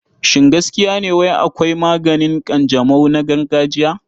Shin gaskiya ne wai akwai maganin ƙanjamau na gargajiya?